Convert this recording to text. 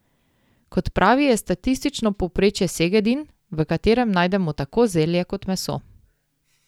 Kot pravi, je statistično povprečje segedin, v katerem najdemo tako zelje kot meso.